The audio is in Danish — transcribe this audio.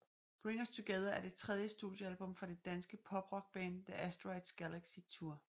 Bring Us Together er det tredje studiealbum fra det danske poprockband The Asteroids Galaxy Tour